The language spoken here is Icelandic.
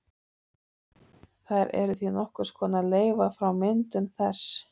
Þær eru því nokkurs konar leifar frá myndun þess.